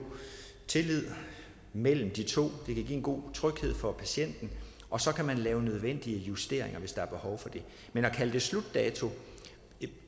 tillid mellem de to det kan give en god tryghed for patienten og så kan man lave nødvendige justeringer hvis der er behov for det men at kalde det en slutdato